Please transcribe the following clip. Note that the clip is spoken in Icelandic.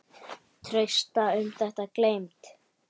Trausta um þetta gleymd.